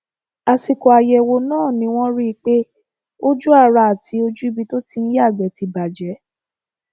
àsìkò àyẹwò náà ni wọn rí i pé ojú ara àti ojú ibi tó ti ń yàgbẹ ti bàjẹ